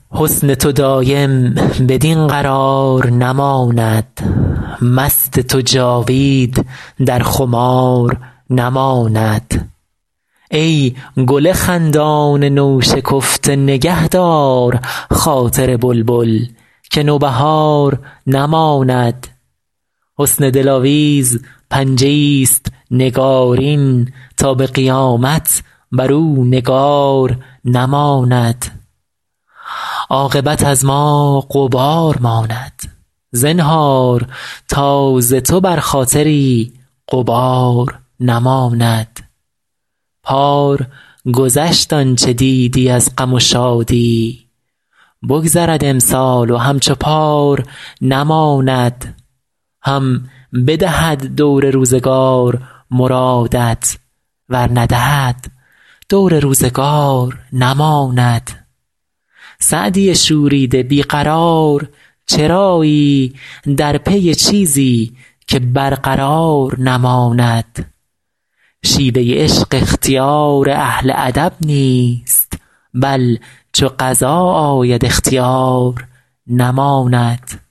حسن تو دایم بدین قرار نماند مست تو جاوید در خمار نماند ای گل خندان نوشکفته نگه دار خاطر بلبل که نوبهار نماند حسن دلاویز پنجه ایست نگارین تا به قیامت بر او نگار نماند عاقبت از ما غبار ماند زنهار تا ز تو بر خاطری غبار نماند پار گذشت آن چه دیدی از غم و شادی بگذرد امسال و همچو پار نماند هم بدهد دور روزگار مرادت ور ندهد دور روزگار نماند سعدی شوریده بی قرار چرایی در پی چیزی که برقرار نماند شیوه عشق اختیار اهل ادب نیست بل چو قضا آید اختیار نماند